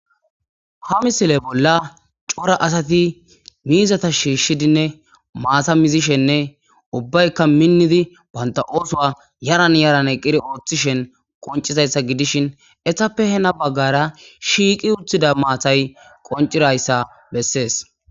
Ha missille bolla coora asati miizata shishiddinne maata muuzishenne ubbaykka minidi bantta oththo yaaran yaaran eqqidi oththishin qonccizayssa gidishin eetappe heeni baggera shiiqi uttida maatay qoniccidayssa besses.